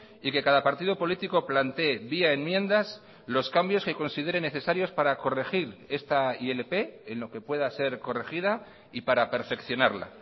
y que cada partido político plantee vía enmiendas los cambios que consideren necesarios para corregir esta ilp en lo que pueda ser corregida y para perfeccionarla